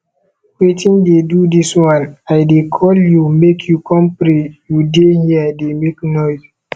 wetin dey do dis one i dey call you make you come pray you dey here dey make noise